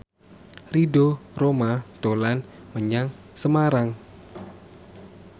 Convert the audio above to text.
Ridho Roma dolan menyang Semarang